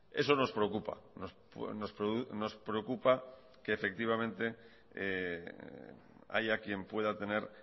eso nos preocupa nos preocupa que haya quien pueda tener